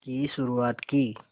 की शुरुआत की